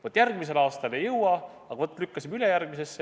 Vaat järgmisel aastal ei jõua, aga lükkame ülejärgmisesse.